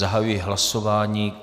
Zahajuji hlasování.